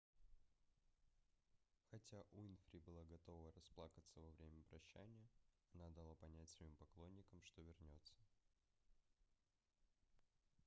хотя уинфри была готова расплакаться во время прощания она дала понять своим поклонникам что вернется